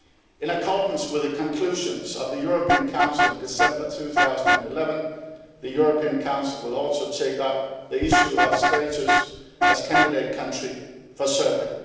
In accordance with the conclusions of the European Council in December 2011, the European Council will also take up the issue of status as candidate country for Serbia.